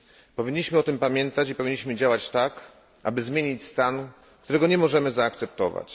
Powinniśmy o tym pamiętać i powinniśmy działać tak, aby zmienić stan, którego nie możemy zaakceptować.